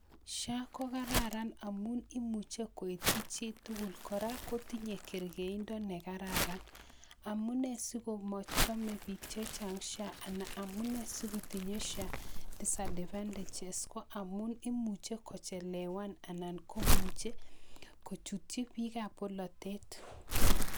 Sha ko kararan amun imuche koityii chitugul, kora kotinye kerkeindoo nekararan amune siko choome biik eleo SHA, amune sikotinye sha disadvantages koamun imuche kochelewan anan komuche kochutchi biikab bolotet.